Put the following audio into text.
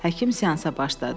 Həkim seansa başladı.